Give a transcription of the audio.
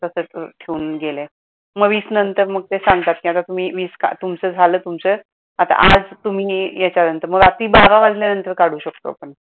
मग वीस नंतर मग ते सांगतात कि आता तुमी वीस तुमचं झाल तुमच आता आज तुम्ही मग रात्री बारा वाजल्यानंतर काढू शकतो आपण.